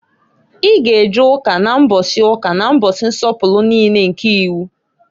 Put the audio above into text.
I g' e je Ụka na mbọsị ụka na mbọsị nsọpụlụ niine nke iwu!